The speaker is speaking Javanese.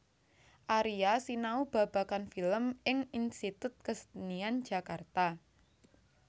Aria sinau babagan film ing Institut Kesenian Jakarta